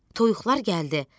Toyuqlar gəldi.